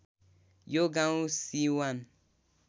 यो गाउँ सिवान